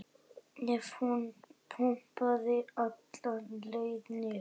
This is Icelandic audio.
ef hún pompaði alla leið niður.